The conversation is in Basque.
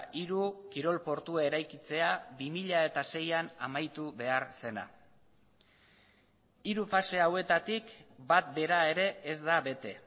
hiru kirol portua eraikitzea bi mila seian amaitu behar zena hiru fase hauetatik bat bera ere ez da bete